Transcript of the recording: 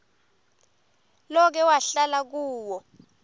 loke wahlala kuwo